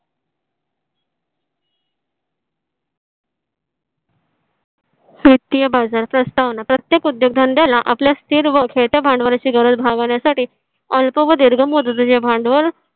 वित्तीय बाजार प्रस्तावना प्रत्येक उद्योगधंद्याला आपल्या स्थिर व भांडवलाची गरज भागवण्यासाठी अल्प व दीर्घ मुदतीचे भांडवल